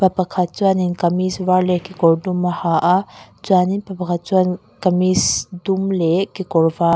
pakhat chuanin kamis var leh kekawr dum a ha a chuanin pa pakhat chuan kamis dum leh kekawr--